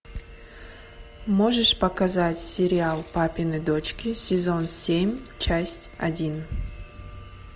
можешь показать сериал папины дочки сезон семь часть один